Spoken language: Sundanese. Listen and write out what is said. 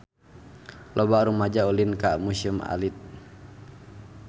Loba rumaja ulin ka Museum Alit